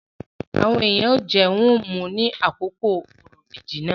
Àwọn èèyàn ó jẹ, wón mu ní àkókò òrò ìbejì náà.